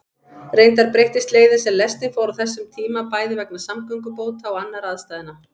Reyndar breyttist leiðin sem lestin fór á þessum tíma, bæði vegna samgöngubóta og annarra aðstæðna.